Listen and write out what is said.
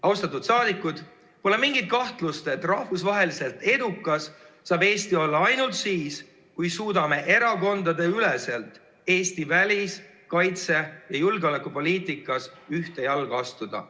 Austatud saadikud, pole mingit kahtlust, et rahvusvaheliselt edukas saab Eesti olla ainult siis, kui me suudame erakondadeüleselt Eesti välis‑, kaitse‑ ja julgeolekupoliitikas ühte jalga astuda.